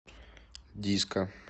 диско